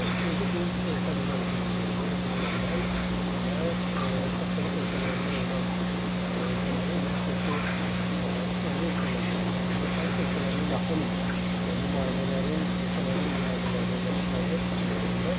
Çünki biz təcrübəmizdə bunu görmüşük ki, bundan əvvəl məhz postsovet ölkələrində olan ölkələrin və yaxud da ki, SNQ ölkələrinə və yaxud da ki, Sovet ölkələrinə yaxın nümayəndələrin, ölkələrin nümayəndələrini, məşqçilərinə üstünlük verirlər.